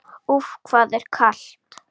Úff, hvað það er kalt!